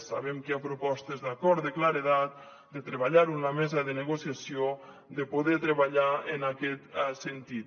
sabem que hi ha propostes d’acord de claredat de treballar ho en la mesa de negociació de poder treballar en aquest sentit